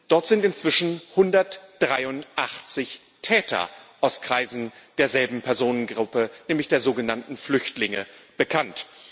Dort sind inzwischen 183 Täter aus Kreisen derselben Personengruppe, nämlich der sogenannten Flüchtlinge, bekannt.